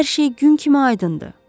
Hər şey gün kimi aydındır.